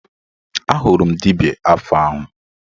Ahụrụ m dibịa afa ahụ